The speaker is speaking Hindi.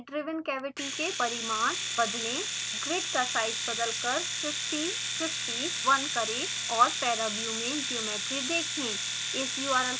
lid driven cavity के परिमाण बदलें ग्रिड का साइज़ बदलकर 50 50 1 करें और paraview में ज्योमेट्री देखें